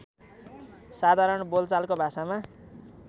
साधारण बोलचालको भाषामा